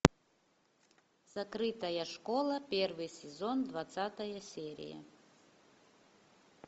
закрытая школа первый сезон двадцатая серия